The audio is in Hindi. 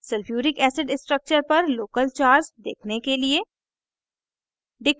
sulphuric acid structure पर local charge देखने के लिए